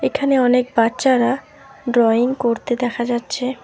এখানে অনেক বাচ্চারা ড্রয়িং করতে দেখা যাচ্ছে।